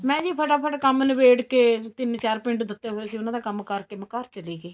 ਮੈਂ ਜੀ ਫਟਾਫਟ ਕੰਮ ਨਬੇੜ ਕੇ ਤਿੰਨ ਚਾਰ ਪਿੰਡ ਦਿੱਤੇ ਹੋਏ ਸੀ ਉਹਨਾ ਦਾ ਕੰਮ ਕਰਕੇ ਮੈਂ ਘਰ ਚਲੀ ਗਈ